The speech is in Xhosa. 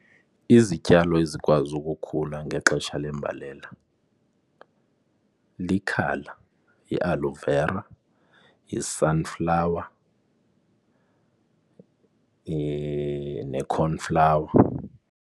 Izityalo ezikwazi ukukhula ngexesha lembalela likhala, yi-aloe vera, yi-sunflower, ne-cornflower.